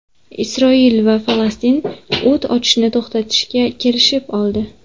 Isroil va Falastin o‘t ochishni to‘xtatishga kelishib oldi.